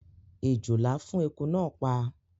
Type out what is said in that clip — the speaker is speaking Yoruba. Èjòlá fún eku náà pa